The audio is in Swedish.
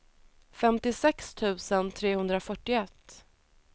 femtiosex tusen trehundrafyrtioett